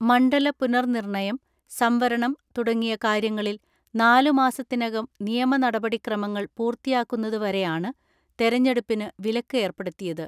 മണ്ഡല പുനർ നിർണയം, സംവരണം തുട ങ്ങിയ കാര്യങ്ങളിൽ നാലുമാസത്തിനകം നിയമനടപടി ക്രമങ്ങൾ പൂർത്തിയാക്കുന്നതു വരെയാണ് തെരഞ്ഞെടുപ്പിന് വിലക്ക് ഏർപ്പെടുത്തിയത്.